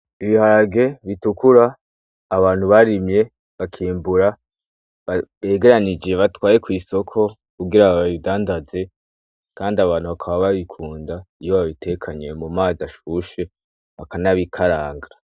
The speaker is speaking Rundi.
Ibiharge bitukura abantu barimye bakimbura, begeranije bajanye kwisoko kugira babindandaze Kandi abantu bakaba babikunda batekanye mumazi ashushe bakan'abikaranga.